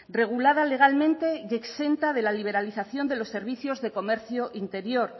regulada legalmente y exenta de la liberalización de los servicios de comercio interior